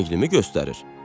"Rənglimi göstərir?"